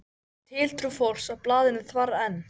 Og tiltrú fólks á blaðinu þvarr enn.